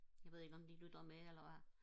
jeg ved ikke om de lytter med eller hvad